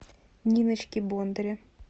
ниночки бондаря